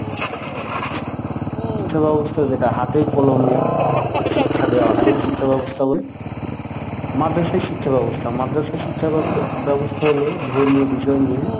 ‍শিক্ষাব্যবস্থা যেটা হাতে-কলমে শিক্ষা দেওয়াকে কারিগরি শিক্ষাব্যবস্থা বলে। মাদ্রাসায় শিক্ষাব্যবস্থা মাদ্রাসা শিক্ষা ব্যবস্থা হল ধর্মীয় বিষয় নিয়ে